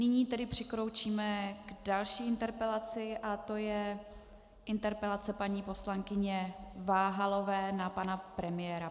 Nyní tedy přikročíme k další interpelaci a tou je interpelace paní poslankyně Váhalové na pana premiéra.